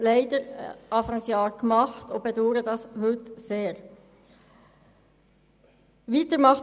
Leider haben wir das dann gemacht, was wir heute sehr bedauern.